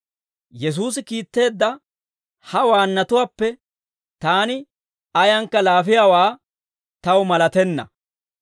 Yesuusi kiitteedda ha waannatuwaappe taani ayankka laafiyaawaa taw malatenna.